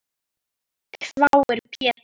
hváir Pétur.